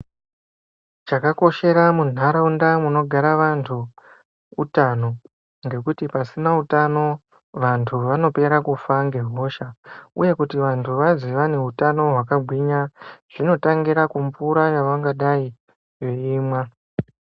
Chakakoshera mundaraunda munogara antu hutano ngekuti pasina utano vantu vanopera nehosha Uye kuti vantu vazi vane hutano hwakagwinya zvinotangira kumvura yavangadai veimwa.